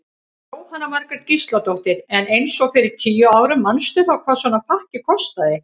Jóhanna Margrét Gísladóttir: En eins og fyrir tíu árum manstu þá hvað svona pakki kostaði?